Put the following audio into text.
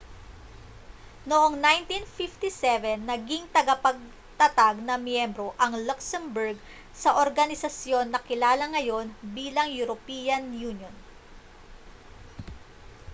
noong 1957 naging tagapagtatag na miyembro ang luxembourg sa organisasyon na kilala ngayon bilang european union